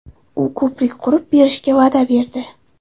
U ko‘prik qurib berishga va’da berdi.